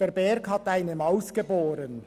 Der Berg hat eine Maus geboren.